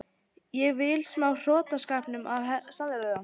Ég vil smá af hrottaskapnum og samheldninni.